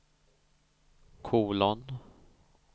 kolon